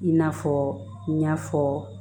I n'a fɔ n y'a fɔ